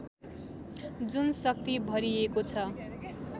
जुन शक्ति भरिएको छ